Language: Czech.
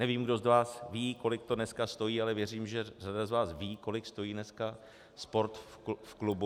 Nevím, kdo z vás ví, kolik to dneska stojí, ale věřím, že řada z vás ví, kolik stojí dneska sport v klubu.